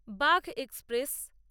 বাঘ এক্সপ্রেস